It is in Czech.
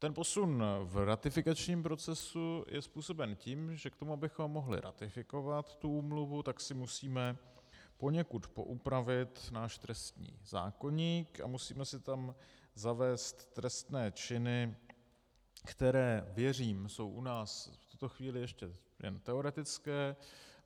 Ten posun v ratifikačním procesu je způsoben tím, že k tomu, abychom mohli ratifikovat tuto úmluvu, tak si musíme poněkud poupravit náš trestní zákoník a musíme si tam zavést trestné činy, které, věřím, jsou u nás v tuto chvíli ještě jen teoretické.